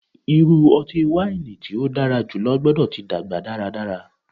Iru ọti-waini ti o dara julọ gbọdọ ti dagba daradara